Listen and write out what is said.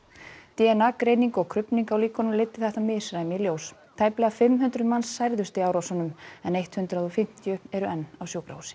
d n a greining og krufning á líkunum leiddi þetta misræmi í ljós tæplega fimm hundruð manns særðust í árásunum en eitt hundrað og fimmtíu eru enn á sjúkrahúsi